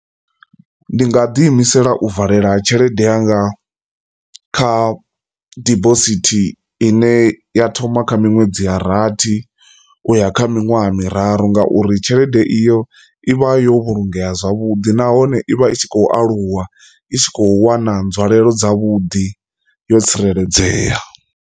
Ndi nga ḓi imisela u valela tshelede yanga kha dibosithi ine ya thoma kha miṅwedzi ya rathi uya kha miṅwaha ha miraru ngauri tshelede iyo ivha yo vhulungea zwavhuḓi nahone ivha i tshi khou aluwa i tshi kho wana nzwalelo dza vhuḓi yo tsireledzea.